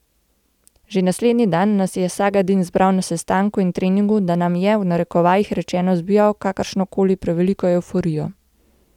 Že naslednji dan nas je Sagadin zbral na sestanku in treningu, da nam je, v narekovajih rečeno, zbijal kakršno koli preveliko evforijo.